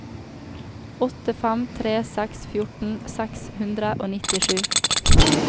åtte fem tre seks fjorten seks hundre og nittisju